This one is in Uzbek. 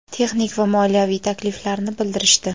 texnik va moliyaviy takliflarini bildirishdi.